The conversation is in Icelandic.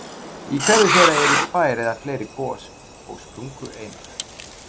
Í hverju þeirra eru tvær eða fleiri gos- og sprungureinar.